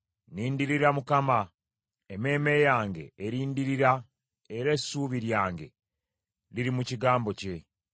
Nnindirira Mukama , emmeeme yange erindirira era essuubi lyange liri mu kigambo kye.